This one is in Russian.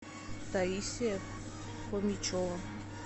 таисия фомичева